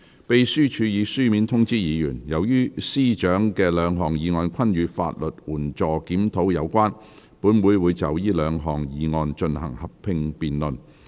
秘書處已書面通知議員，由於司長的兩項議案均與法律援助輔助計劃有關，本會會就這兩項議案進行合併辯論。